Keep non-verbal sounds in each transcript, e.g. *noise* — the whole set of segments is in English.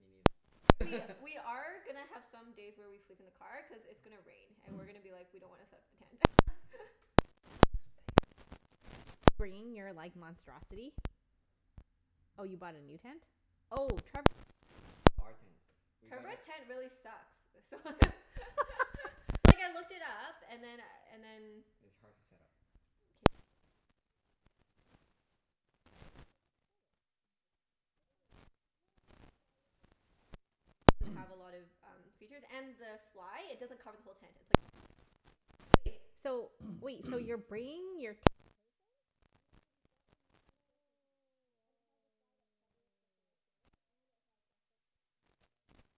Me I feel like we neither. *laughs* we are gonna have some days where we sleep in the car, cuz it's gonna rain and we're *noise* gonna be like, "We don't wanna set up the tent." *laughs* There's no space. Are you bringing your like monstrosity? Oh, you bought a new tent? Oh, Trevor's. No, our tent. We gotta Trevor's tent really sucks. So *laughs* *laughs* Like, I looked it up and then and then It's hard to set up. K, let's just *noise* Oh. use the first No, letter of their name. just It don't matter. Trevor. Okay, fine. It's Anyways fine. No, no, no. So I looked it up and then it it doesn't have a *noise* lot of um features. And the fly, it doesn't cover the whole tent. It's like a half Oh. Wait, Right? so wait. So you're *noise* bringing your ten-person? No, no, we bought a new Oh. two-person tent. And it has a Yeah *inaudible* fly that covers the whole thing. And it has a footprint. What's a fly *noise* I see. for?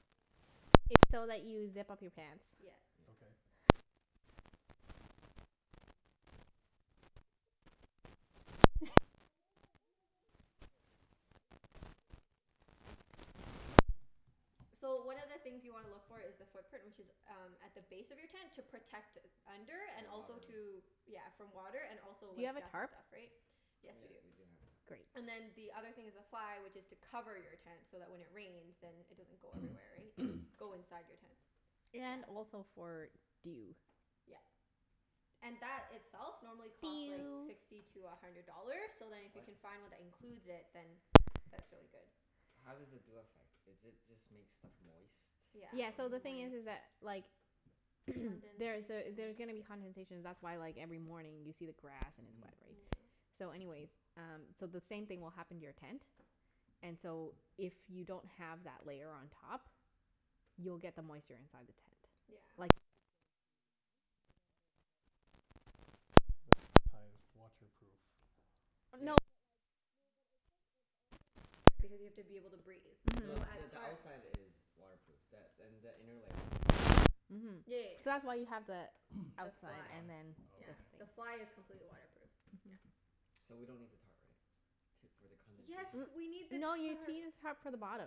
What is a Rain. Tighten. fly? It's so that you zip up your pants. Yeah. Yep. Okay. Basically. Never heard of it. What? *laughs* You've never Well, it's okay. We learnt it too. *laughs* We heard *inaudible* just learned it too, so it's okay. So, one of the things you wanna look for is the footprint, which is um at the base of your tent to protect under, and The also water. to Yeah, from water and also Do you like have a dust and tarp? stuff, right? Yes, we do. Yep, we do have a tarp. Great. And then the other thing is the fly which is to cover your tent, so that when it rains then it doesn't go everywhere, right? *noise* Go inside your tent. And Yeah. also for dew. Yeah. And that itself normally costs like Dew. sixty to a hundred dollars, so then if you What? can find one that includes it, then that's really good. How does the dew affect? Is it just make stuff moist from Yeah, Yeah, so in the the thing is morning. is that like *noise* there's a, Condensation. there's gonna be condensation. That's why like every morning you see the grass and it's Mhm. wet, right? Yeah. So anyways, um so the same thing will happen to your tent and so if you don't have that layer on top you'll get the moisture inside the tent. Yeah. Like it could go though the tent so What? Mhm. then I the thought top Mm. ev- it's the outside is waterproof. No, but Yeah, like that th- No, but it's like, it's also mesh right, because you have to be able to breathe. So No, Mhm. the at the parts outside is waterproof, th- and the inner layer is mesh. Mhm. Yeah, yeah, So yeah. that's why you have the *noise* The The outside fly? fly. and then Yeah. this Oh, The okay. thing. fly is completely waterproof. Yeah. Mhm. So we don't need the tarp, right? T- for the Yes, condensation? we need the N- no you need to tarp. use tarp for the bottom.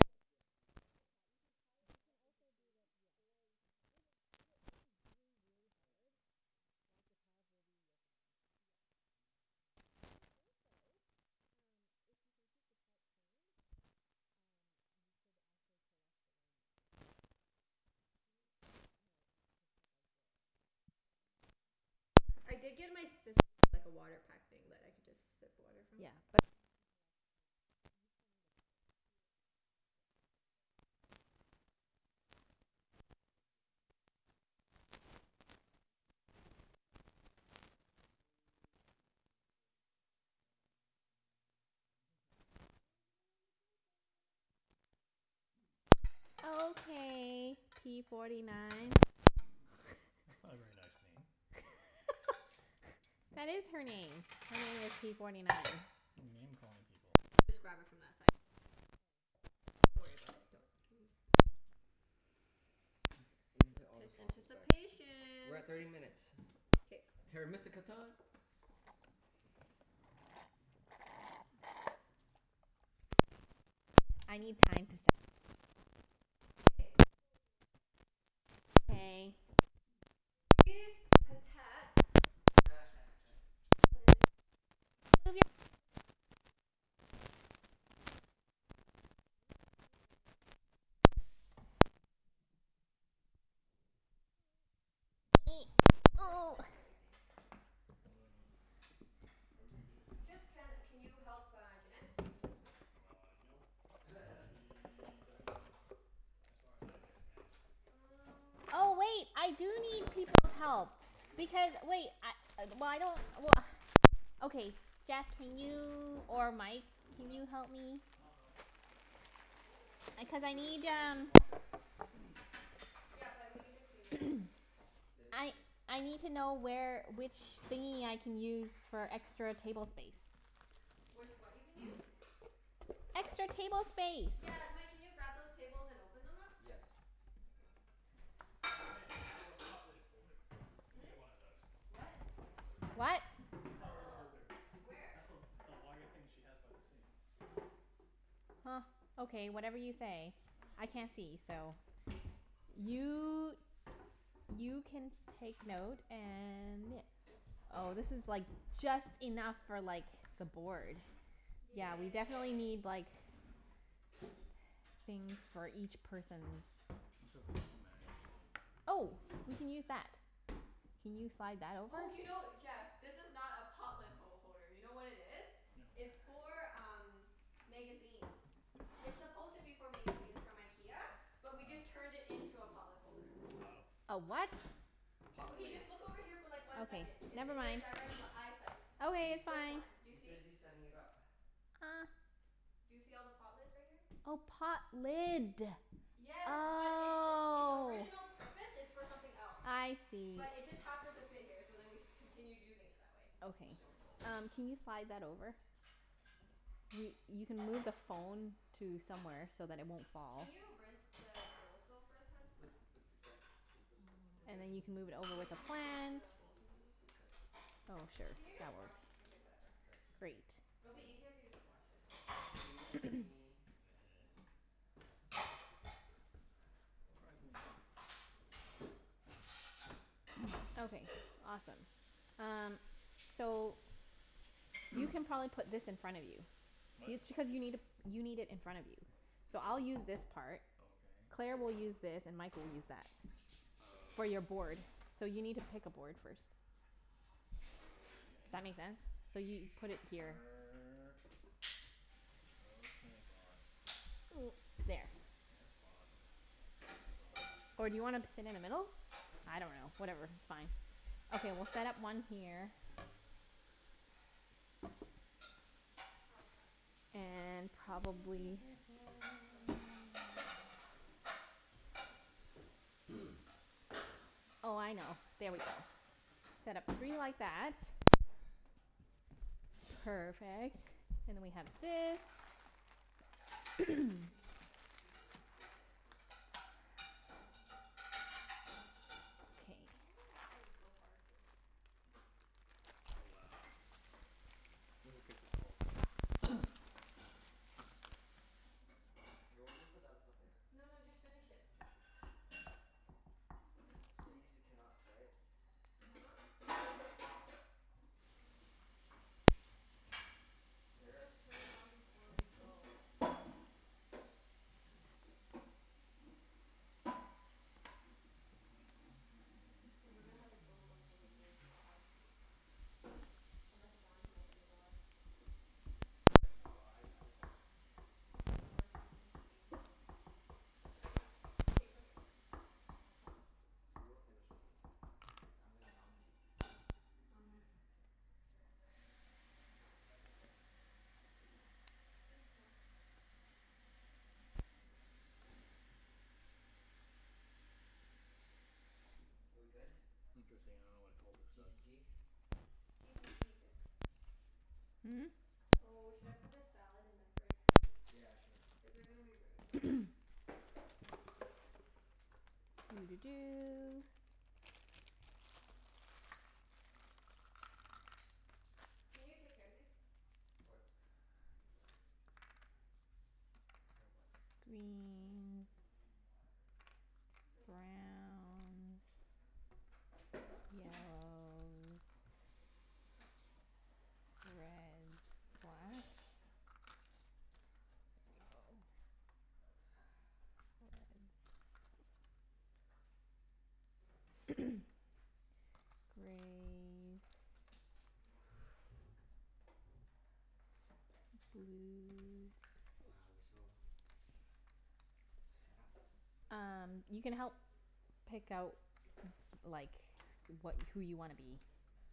Yes, yes, that's the And the footprint. top. You can tie it up You into can also trees, do the, or yes. you can put it If *inaudible* it, if it rains really, Oh really yes, hard yes, then tarp. like the tarp will be your friend. Yes. My friend. Yeah. And also, um if you can keep the tarp clean um you could actually collect the rain water. To Can drink you it? drink it? No, and t- to like boil and then drink. Oh, okay, Oh, yeah. okay. I did get, my sister gave me like a water pack thing that I could just sip water from. Yeah. But then you can collect the w- but you still Yeah, yeah, need yeah. the water. That's Yeah. what truck stops are for. If we can find them. Maybe. I'm sure we'll be able to find them. Are Is we it ready to ready play to games play now? games We're now? at torny nine minutes and forty seconds. Na na Okay. na. Na na na. Na na na. *laughs* Na Everyone na give me your na. utensils. *noise* Okay p forty nine. That's not a very nice name. *laughs* That is her name. Her name is p forty nine. You're name-calling people. We'll just grab it from that side and it'll be easier. But don't worry about it, don't *noise* Okay. You can P- put all the p- sauces back. anticipation. We're at thirty minutes. K. Terra Mystica time. Okay, I need Okay. time to set up. K. Okay. *inaudible* Go Junette. That's your job. Okay. *noise* So these potats *laughs* I'll put into a container. Can I move your bag? Yes. Please. Okay, I just need to move it a little *noise* bit. K. Um. Man, I hope this fits *inaudible* everything. What do I need to do? Are we doing dishes now? Just, can can you help uh Junette? Uh, nope. Nope. *laughs* She doesn't want help, as far as I understand. Um Oh wait, I do need people's help. You do? Because wait, I, well I don't, well Okay, Jeff can you, or Mike can Yep. you help me? I'll help. Hold on. Oh, do we Cuz I put this need on the um dishwasher? *noise* Yeah, but we need to clean it out first. *noise* It is I clean. I need to know where, which thingie I can use for extra table space. Which what you can use? *noise* Extra table space. Got Yeah, it. Mike, can you grab those tables and open them up? Yes. Oh hey, you have a pot lid holder. We Hmm? need one of those. What? You have a pot lid What? holder. Pot lid *noise* holder. Where? Where? That's the w- the wire thing she has by the sink. Huh. Okay, whatever you say. I *noise* can't see, so Okay. You you *noise* can take note and yeah Oh, this is like just enough for like the board. Yeah, we Okay. definitely Yay. need like things for each person's It's okay. We'll manage. Oh, we can use that. *noise* Can you slide that over? Oh, you know, Jeff? This is not a pot lid ho- holder. You know what it is? No. It's for um magazines. It's supposed to be for magazines from IKEA. Oh. But we just turned it into a pot lid holder. Oh. A what? Pot Okay, lid. just look over here for like one Okay, second. It's never in your mind. direct l- eyesight. Okay, She's it's This fine. one. Do you she's see? busy setting it up. *noise* *noise* Do you see all the pot lids right here? Oh, pot lid. Yes, but its its Oh. original purpose is for something else. I see. But it just happened to fit here so then we continued using it that way. I'm Okay. so full. Um can you slide that over? You you can move the phone to somewhere so that it won't fall. Can you rinse the bowls though first, hun? And then you can move it over Can you with the please rinse *noise* plant. the bowls and everything first? Oh well, sure. Can you That just works. wash, okay whatever. *noise* Great. It'll be 'Scuse easier if you me. just wash it. 'Scuse *noise* me. *noise* *inaudible* Surprisingly heavy. *noise* Okay. Awesome. Um So, you *noise* can probably put this in front of you. What It's because you need i- you need it in front of you. So I'll use this part. Okay. Claire I will use this and Mike will use that. For Okay. your board. So you need to pick a board first. Does that make *noise* sense? So Okay. you put it here. Sure. Okay boss. *noise* There. Yes boss. No boss. Or do you wanna p- sit in the middle? I No. dunno. Whatever, fine. Okay, we'll set up one here. Oh crap. And probably That would be difficult. *noise* *noise* Oh, I know. There we go. Set up three like that. *noise* Perfect. Then we have this. *noise* *laughs* *noise* I don't know Okay. why this thing's so hard to *noise* Oh, wow. This is good for cult. *noise* Here, we'll just put that as stuff later. No no, just finish it. These are cannots, right? uh-huh. We'll Here. just turn it on before we go. Cuz we're gonna have to go *inaudible* from the game to your *noise* house. Unless John can open the door. What? No, I I'm going. But what if we don't finish the game? K, put it. We will finish the game, cuz I'm gonna dominate. uh-huh. Ah. Thanks hun. K, we good? Interesting, Okay. I don't know what a cultist G to does. g? G to g bib. Hmm? Oh, should I put the salad in the fridge first? Yeah, sure. Is there gonna be room though? *noise* Doo dee *noise* doo. Can you take care of these? What? Take care of what? Greens. *inaudible* Browns. Yellows. Red. *noise* Blacks. We go *noise* *inaudible* *noise* *noise* Grays. *noise* Blues. Wow, we're so set up. *noise* Um you can help pick out like wha- who you wanna be.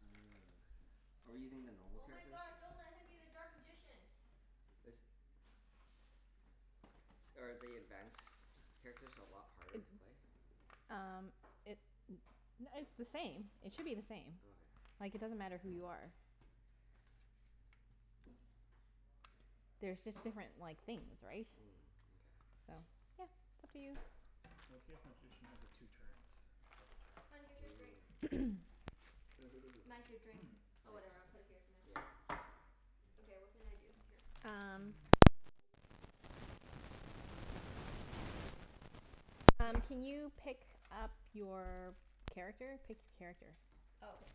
*noise* Are we using the normal Oh my characters? gosh, don't let him be the dark magician. This Are the advanced characters a lot harder It to play? Um it it's the same. It All should be the same. right. Okay. Like it doesn't matter who you are. There's just different like things, right? Mm, mkay. So, yeah. Up to you. Okay if magician has a two turns. Double Hun, here's turn. your drink. *noise* Ooh. Mike, Ooh. your drink? *noise* Oh, whatever. I'll Thanks. put it here for now. Yeah. Okay, what can I do? Here. Um you *noise* can Oh, *noise* you pick can sit your on the character. little minion. Oh, It'll be thanks. a lot more comfortable. Here. Um can you pick up your character? Pick a character. Oh, okay.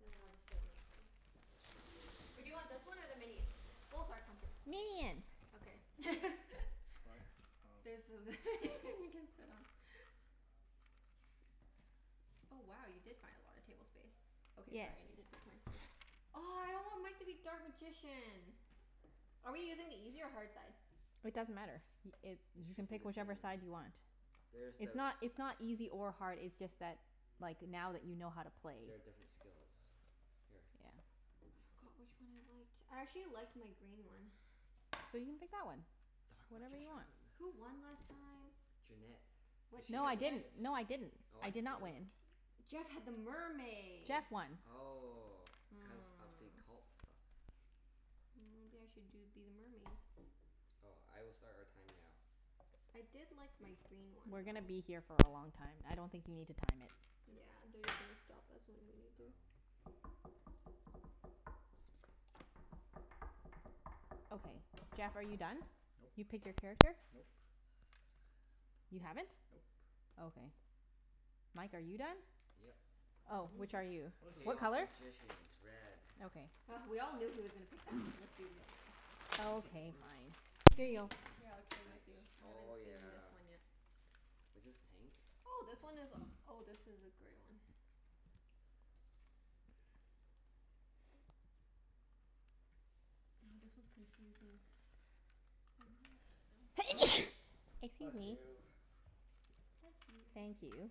And then I'll just sit on this thing. Or do you want this one or the Chinese. minion? Both are comfortable. Minion. Okay. *laughs* What? There's Oh. th- *laughs* you can sit on. Oh wow, you did find a lotta table space. Okay, Yes. sorry. I needed the. *inaudible* Oh, I don't want Mike to be dark magician. Are we using the easy or hard side? It doesn't matter. Y- it, It you can should be pick the whichever same. side you want. There's It's the not it's not easy or hard, it's just that like now that you know how to play. There are different skills. Here. Yeah. I forgot which one I liked. I actually liked my green one. *noise* So you pick that one. Dark Whatever you magician. want. Who won last time? Junette. What Cuz What? she No had I what the did didn't. ships. No I didn't. Oh, I what? did not Really? win. Jeff had the mermaid. Jeff won. Oh. Cuz of the Hmm. cult stuff. Mm maybe I should do be the mermaid? Oh, I will start our time now. I did like my green one We're though. gonna be here for a long time. I don't think you need to time it. Yeah, they're just gonna stop us when we need to. Oh. Okay. Jeff, are you done? Nope. You pick your character? Nope. *noise* You haven't? Nope. Okay. Mike, are you done? Yep. Oh. Which are you? What Chaos *inaudible* color? Magicians. Red. Okay. Oh we all knew he was gonna pick that one. *noise* Let's be real now. *inaudible* I Okay, fine. don't Here even know you what go. this Here, I'll is. trade with you. Thanks. I haven't Oh seen this yeah. one yet. Was this pink? Oh, this one is, *noise* oh, this is a gray one. Oh, this one's confusing. *inaudible* *noise* Excuse Bless me. you. Bless you. Thank you.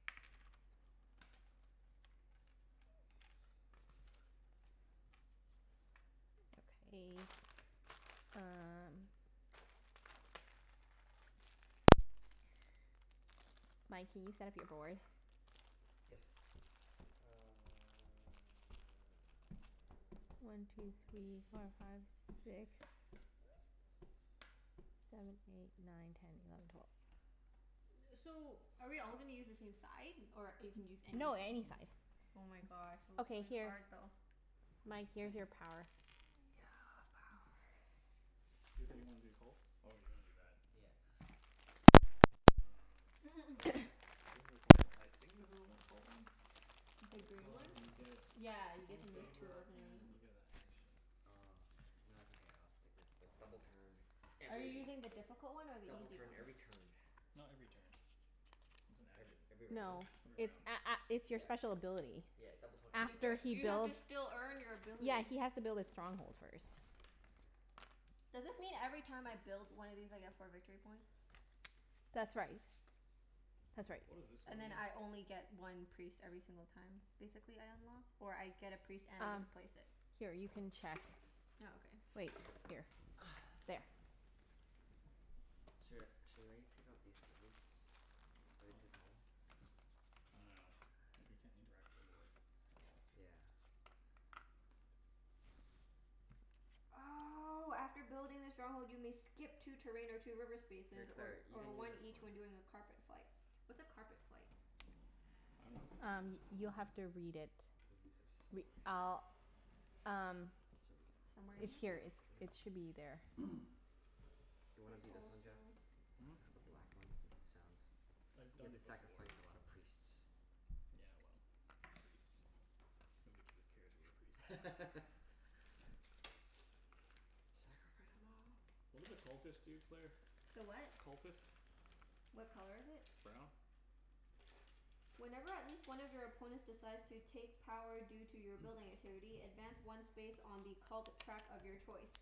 *noise* Okay, um Mike, can you set up your board? *noise* Yes. Uh *noise* One two three four five six. Seven eight nine ten eleven twelve. *noise* So, are we all gonna use the same side, or you can use No, anything? any side. *noise* Oh my gosh, *noise* it looks Okay, really here. hard though. Mike, here's your *noise* power. Thanks. Yeah, power. You said you wanted to be the cults? Oh, you wanna do that. Yeah. *noise* Or is Mm. that *noise* the *noise* This is a cult o- I think this a cult one? The This green one? one, you Oh. get Yeah, you get one to move two favor Oh. and you *inaudible* get a action. Oh, okay. No, it's okay, I'll stick with the double turn, Are you every, using the difficult one or the double easy turn one? every turn. Not every turn. It's an Every action. every No. round? Every It's round. a- a- it's your Yeah. special ability. Yeah, double turn You every have to After s- he you round. have to builds, still earn your ability. yeah, he has to build his stronghold first. Does this mean every time I build one of these I get four victory points? That's right. That's right. What does this one And then mean? I only get one priest every single time, basically, I unlock? Or I get a priest and I get Um, to place it? here you can check Oh, okay. Wait. Here. *noise* There. *noise* Sh- should I take out these tables? Are they What? too tall? I dunno. We can't *noise* interact with the board. That's all. Yeah. Oh, after building the stronghold you may skip two terrain or two river Hey spaces, or Claire, you or can use one this one. each when doing a carpet flight. What's a carpet flight? I dunno. Um you'll have to read it. We'll use this Re- over here. I'll, um So we can Somewhere in touch it's the here? here. board It's, over there. it should be there. *noise* Do you wanna It's be this one, Jeff? also Hmm? The black one? He sounds I've You have done to it before. sacrifice a lot of priests. Yeah, well, the priests. Nobody giv- cares about the priests. *laughs* Sacrifice them all. What do the cultists do, Claire? The what? Cultists? What color is it? Brown. Whenever at least one of your opponents decides to take power due to your *noise* building activity, advance one space on the cult track of your choice.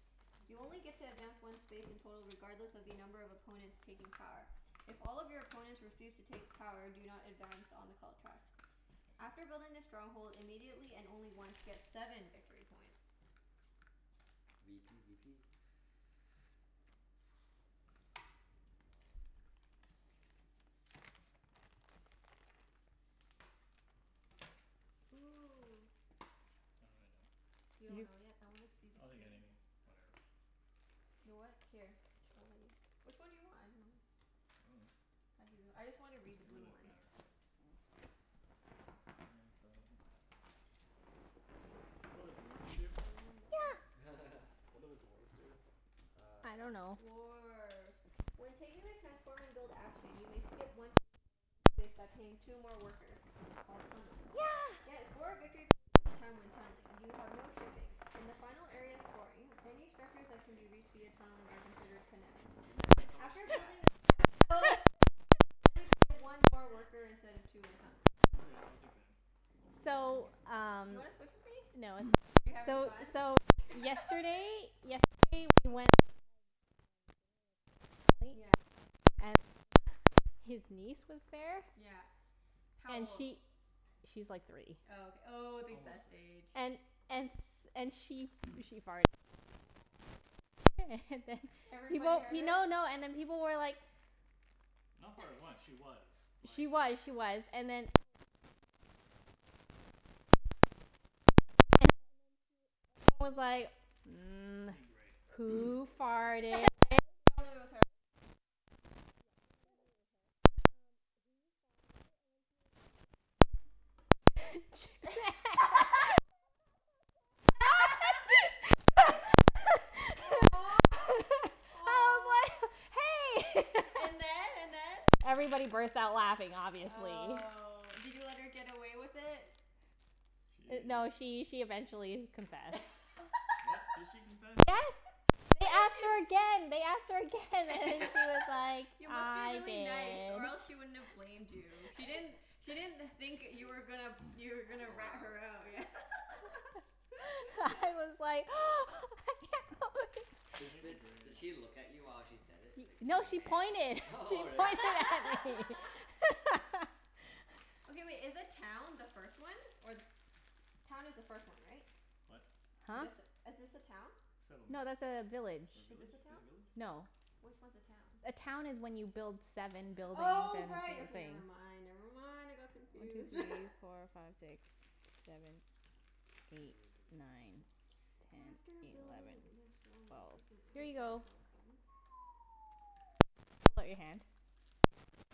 You only get to advance one space in total regardless of the number of opponents taking power. If all of your opponents refuse to take power do not advance on the cult track. I After see. building the stronghold immediately, and only once, get seven victory points. v p b p. Ooh. I don't really know. You don't You know yet? I wanna see the I'll take green anything. Whatever. You what? Here. I'll let you, which one do you want? I dunno. I dunno. *inaudible* I just wanna read the It really blue doesn't one. matter. It doesn't matter. What do dwarves do? *inaudible* Yeah. *laughs* What do the dwarves do? I Uh dunno. Dwarf. When taking the transform and build action you may skip one terrain or reverse space by paying two more workers. Called tunneling. Yeah. Get four victory points each time when tunneling. You have no shipping. In the final area of scoring, any structures that can be reached via tunneling are considered connect. Junette, that's so much After gas. building a strong *laughs* hold, *laughs* only pay one more worker instead of two when tunneling. Okay. I'll take them. We'll see. So, Mkay. Do you um wanna switch with me? No, *noise* You're it's fine. having So fun? so yesterday *laughs* Yesterday we went, we had um dinner with Jeff's family. Yeah. And *laughs* his niece was there. Yeah. How And old? she, she's like three. Oh, ok- oh, the Almost best three. age. And and s- and she *noise* she farted. *laughs* And then? *laughs* And then Everybody People, heard her? no no, and then people were like Not farted once. *noise* She was, like She was, she was. And then Oh, can I have the ex- the bag there? Um and and then she w- everyone I need was gray. like, *noise* *noise* "Who *laughs* But they farted?" all knew it was her? Y- oh, yeah, everyone knew Everybody. it *laughs* was her. Um "Who farted?" and then she was like *laughs* I *laughs* was like, *laughs* *inaudible* Aw. *laughs* Aw. "Hey!" *laughs* And then? And then? Everybody burst out laughing, obviously. Oh. Did you let her get away with it? D- no, She she she eventually confessed. What? Did *laughs* she confess? Yes. Why They do asked her pe- again, they asked her again and then *laughs* she was like, You must be "I really did." nice or else she wouldn't have blamed *noise* you. She didn't, she didn't think that you were gonna, *noise* you were gonna Call her rat out? her out. Yeah. *laughs* *laughs* I was like *noise* *laughs* Di- *inaudible* the di- did grays. she look at you while she said it? It's like, No, she pointed. *laughs* She "Junette." *laughs* Really? pointed at me. *laughs* *laughs* Okay wait, is the town the first one, or the se- Town is the first one, right? What? Huh? This, is this a town? Settlement. No, that's a village. Or Is this village? a Is town? it village? No. Which one's a town? A town is when you build seven buildings Oh, and right. Okay, never *inaudible* I mind, never never mind. want I to go got confused. *laughs* through *inaudible* four five six seven eight nine *noise* After ten eleven building the strongholds you twelve. can Here you *inaudible* a go. token. *noise* Jeff, hold out your hand. *noise*